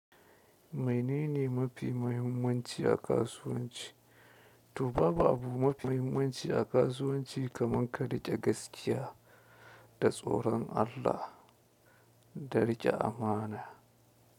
Maine ne ma fi mahimmanci a kasuwanci. To babu abu ma fi mahimmanci a kasuwanci kaman ka riƙe gaskiya da tsoron Allah, da riƙe amana.